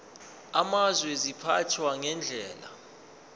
amazwe ziphathwa ngendlela